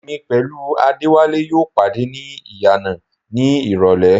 Èmi pẹ̀lú Adéwálé yóò pàdé ní ìyànà ní ìrọlẹ́